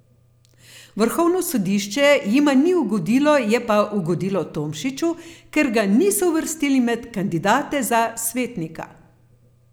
Vrhovno sodišče jima ni ugodilo, je pa ugodilo Tomšiču, ker ga niso uvrstili med kandidate za svetnika.